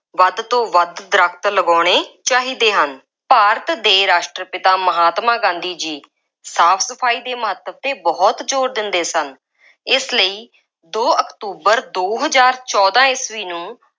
ਵੱਧ ਤੋਂ ਵੱਧ ਦਰੱਖਤ ਲਗਾਉਣੇ ਚਾਹੀਦੇ ਹਨ। ਭਾਰਤ ਦੇ ਰਾਸ਼ਟਰ-ਪਿਤਾ ਮਹਾਤਮਾ ਗਾਂਧੀ ਜੀ ਸਾਫ ਸਫਾਈ ਦੇ ਮਹੱਤਵ 'ਤੇ ਬਹੁਤ ਜ਼ੋਰ ਦਿੰਦੇ ਸਨ। ਇਸ ਲਈ ਦੋ ਅਕਤੂਬਰ ਦੋ ਹਜ਼ਾਰ ਚੋਦਾਂ ਈਸਵੀ ਨੂੰ